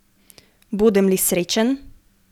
Bodem li srečen?